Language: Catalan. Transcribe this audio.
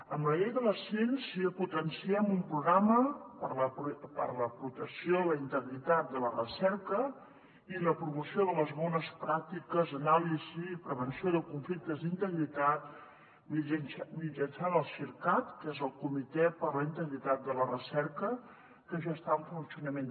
amb la llei de la ciència potenciem un programa per a la protecció de la integritat de la recerca i la promoció de les bones pràctiques anàlisi i prevenció de conflictes d’integritat mitjançant el cir cat que és el comitè per a la integritat de la recerca que ja està en funcionament